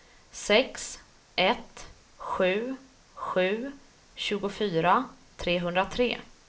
sex ett sju sju tjugofyra trehundratre